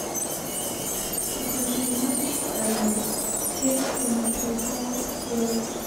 покажи матч эвертон с кристал пэлас